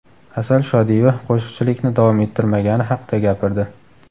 Asal Shodiyeva qo‘shiqchilikni davom ettirmagani haqida gapirdi.